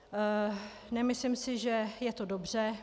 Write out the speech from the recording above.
Nemyslím si, že je to dobře.